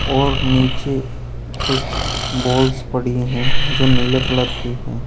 और नीचे कुछ बॉल्स पड़ी हैं जो नीले कलर की है।